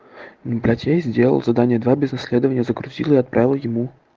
блять я сделал задание два без исследования загрузила и отправила ему